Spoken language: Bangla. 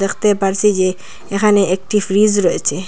দেখতে পারছি যে এখানে একটি ফ্রিজ রয়েচে।